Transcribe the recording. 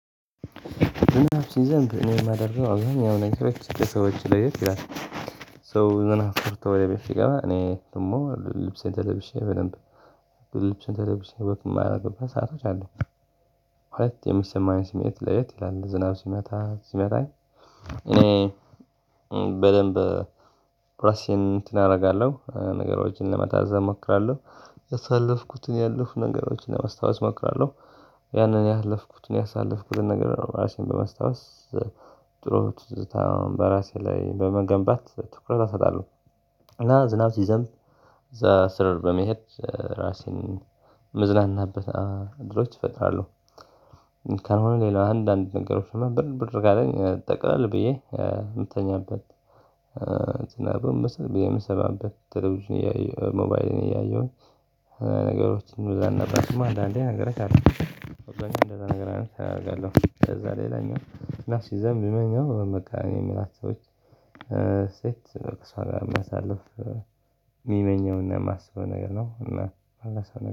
ዝናብ ሲዘንብ እኔ የማደርገው አሁን ያው ነገሮች እንደ ሰዎች ለየት ይላል። ሰው ዝናብ ፈርቶ ወደ ቤት ሲገባ እኔ ደግሞ ልብሴን ተደብሼ በደንብ ልብሴን ተደብሼ ወክ የማደርግበት ሰአቶች አሉ። ሁለት የሚሰማኝ ስሜት ለየት ይላል ዝናብ ሲመታ ሲመታኝ። እኔ በደንብ ራሴን እንትን አደርጋለሁ ነገሮችን ለመታዘብ እሞክራለሁ። ያሳለፍኩትን ያለፉ ነገሮችን ለማስታወስ እሞክራለሁ። ያንን ያለፍኩትን ያሳለፍኩትን ነገር ራሴን በመስታወስ። ጥሩ ትዝታ በራሴ ላይ በመገንባት ትኩረት አሰጣለሁ። እና ዝናብ ሲዘንብ እዛ ስር በመሄድ ራሴን እምዝናናበት ንገሮች እፈጥራለሁ። ካልሆነ ሌላ አንዳንድ ነገሮችን ብርድ ብርድ ካለኝ ጠቅለል ብዬ የምተኛበት። ዝናቡን የምሰማበት ቴሌቪዥን እያየሁ ሞባይልን እያየሁኝ። ነገሮችን ወደ አንድ ነበርኩማ አንዳንዴ ነገረክ አለው። ጋር እንደዛ ነገር አድርጋለሁ። ከዛ ሌላኛው እና ሲዘንብ ምመኘው በቃ እኔ የምላቸው ሰዎች። ሴት እሷ ጋር ማሳለፍ ሚመኘውና የማስበው ነገር ነው። እና